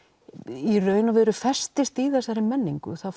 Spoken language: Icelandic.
í raun og veru festist í þessari menningu það